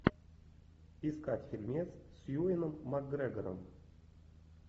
искать фильмец с юэном макгрегором